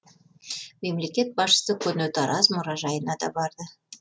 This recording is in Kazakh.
мемлекет басшысы көне тараз мұражайына да барды